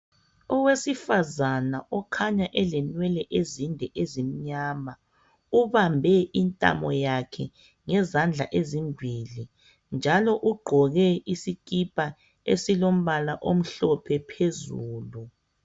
Owesifazana okhanya elenwele ezinde ezimnyama ubambe intamo yakhe ngezindla ezimbili njalo ugqoke isikipa esilombala omhlophe phezulu.